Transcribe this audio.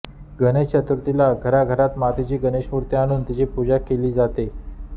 गणेश चतुर्थुला घराघरात मातीची गणेशमूर्ती आणून तिची पूजा केली जातो